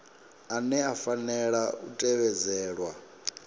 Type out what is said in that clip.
ane a fanela u tevhedzelwa